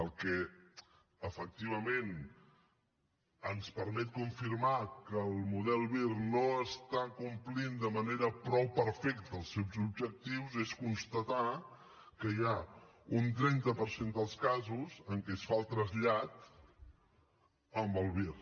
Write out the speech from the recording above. el que efectivament ens permet confirmar que el model vir no compleix de manera prou perfecta els seus objectius és constatar que hi ha un trenta per cent dels casos en què es fa el trasllat amb el vir